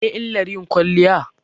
Mene illar yin kwaliya?